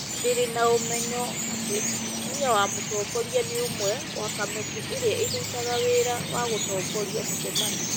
Ndirĩ na ũmenyo atĩ mũtumia wa mũtongoria nĩ ũmwe wa kamĩtĩ ĩrĩa ĩrutaga wĩra wa gũtongoria mĩcemanio.